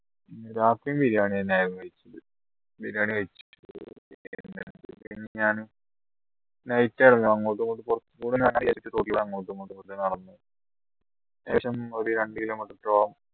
രാത്രി ബിരിയാണിന്നെയായിരുന്നു ബിരിയാണി കഴിച്ച് night അങ്ങോട്ടുമിങ്ങോട്ടും ഏകദേശം ഒരു രണ്ട് kilo meter ഓളം